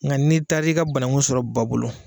Nga n'i taara i ka banangu sɔrɔ ba bolo